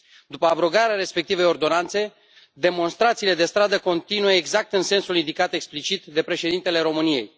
După abrogarea respectivei ordonanțe, demonstrațiile de stradă continuă exact în sensul indicat explicit de Președintele României.